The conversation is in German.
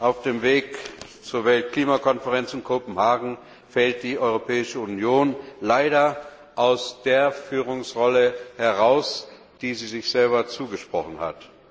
Auf dem Weg zur Weltklimakonferenz in Kopenhagen fällt die Europäische Union leider aus der Führungsrolle heraus, die sie sich selber zugesprochen hat.